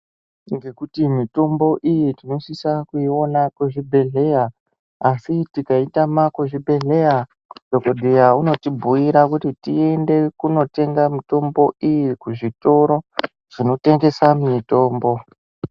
Ngekuti mitombo iyi tinosisa kuiona kuzvibhedhleya asi tikaitama kuzvibhedhleya dhokodheya unotibhuira kuti tiende kotenga mitombo iyi kuzvitoro zvinotengesa mitombo.